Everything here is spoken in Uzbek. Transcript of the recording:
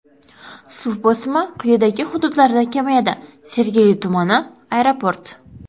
Suv bosimi quyidagi hududlarda kamayadi: Sergeli tumani: Aeroport.